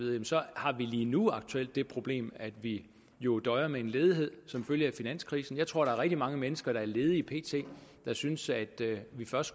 har vi lige nu det problem at vi jo døjer med en ledighed som følge af finanskrisen jeg tror der er rigtig mange mennesker der er ledige pt der synes at vi først